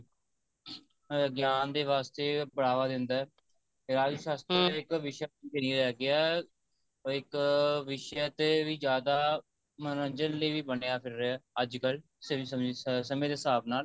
ਅਹ ਗਿਆਨ ਦੇ ਵਾਸਤੇ ਬਢਾਵਾ ਦਿੰਦਾ ਹੈ ਰਾਜਨੀਤਿਕ ਸ਼ਾਸ਼ਤਰ ਇੱਕ ਵਿਸ਼ਾ ਮੰਨਿਆ ਗਿਆ ਉਹ ਇੱਕ ਵਿਸ਼ੇ ਤੇ ਵੀ ਜਿਆਦਾ ਮਨੋਰਜਨ ਲਈ ਵੀ ਬਣਿਆ ਫਿਰਿਆ ਅੱਜਕਲ ਸਿਰ ਸਮੇ ਸਮੇਂ ਦੇ ਹਿਸਾਬ ਨਾਲ